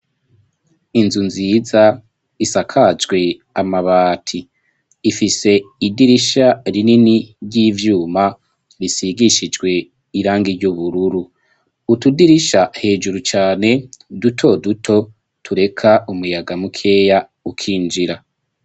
Inzu nziza isakajwe amabati, ifise idirisha rinini ry'ivyuma risigishijwe irangi ry'ubururu. Utudirisha hejuru cane duto duto tureka umuyaga mukeya ukinjira.